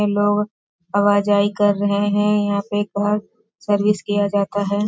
ये लोग कर रहे हैं यहां पे कार सर्विस किया जाता है।